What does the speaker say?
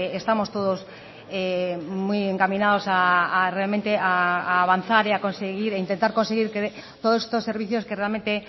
estamos todos muy encaminados realmente a avanzar e intentar conseguir que todos estos servicios que realmente